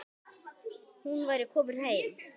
Hún væri komin heim.